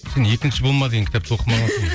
сен екінші болма деген кітапты